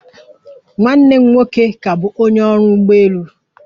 Nwanne m nwoke ka bụ onye ọrụ ụgbọelu